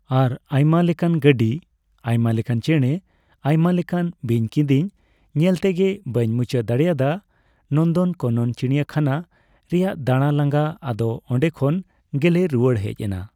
ᱟᱨ ᱟᱭᱢᱟ ᱞᱮᱠᱟᱱ ᱜᱟᱰᱤ , ᱟᱭᱢᱟ ᱞᱮᱠᱟᱱ ᱪᱮᱬᱮ, ᱟᱭᱢᱟ ᱨᱞᱮᱠᱟᱱ ᱵᱤᱧᱼᱠᱤᱫᱤᱧ ᱧᱮᱞ ᱛᱮᱜᱮ ᱵᱟᱹᱧ ᱢᱩᱪᱟᱹᱫ ᱫᱟᱲᱮᱭᱟᱫᱟ᱾ ᱱᱚᱱᱫᱚᱱ ᱠᱟᱱᱚᱱ ᱪᱤᱲᱤᱭᱟ ᱠᱷᱟᱱᱟ ᱨᱮᱭᱟᱜ ᱫᱟᱬᱟ ᱞᱟᱝᱜᱟ, ᱟᱫᱚ ᱚᱸᱰᱮ ᱠᱷᱚᱱ ᱜᱮᱞᱮ ᱨᱩᱣᱟᱹᱲ ᱦᱮᱡ ᱮᱱᱟ᱾